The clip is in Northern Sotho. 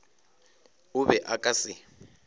o be o ka se